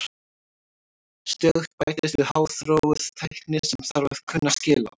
Stöðugt bætist við háþróuð tækni sem þarf að kunna skil á.